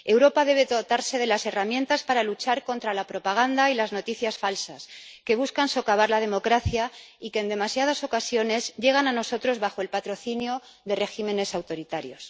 Europa debe dotarse de las herramientas para luchar contra la propaganda y las noticias falsas, que buscan socavar la democracia y que, en demasiadas ocasiones, llegan a nosotros bajo el patrocinio de regímenes autoritarios.